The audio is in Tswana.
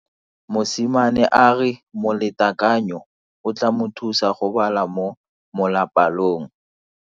Mosimane a re molatekanyo o tla mo thusa go bala mo molapalong.